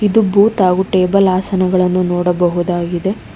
ತ್ತು ಬೂತ್ ಹಾಗು ಟೇಬಲ್ ಆಸನಗಳನ್ನು ನೋಡಬಹುದಾಗಿದೆ